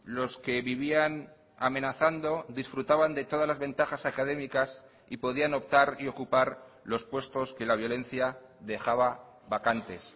los que vivían amenazando disfrutaban de todas las ventajas académicas y podían optar y ocupar los puestos que la violencia dejaba vacantes